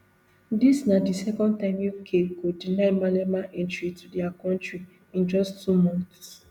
dis na di second time uk go deny malema entry to dia kontri in just two months